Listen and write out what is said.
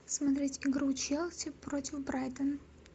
смотреть игру челси против брайтона